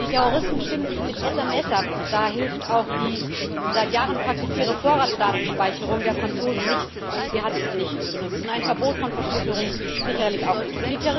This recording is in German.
Die Terroristen stimmen sich mit SMS ab, da hilft auch die seit Jahren praktizierte Vorratsdatenspeicherung der Franzosen nichts sie hat nichts genutzt und ein Verbot von Verschlüsselung sicherlich auch nicht.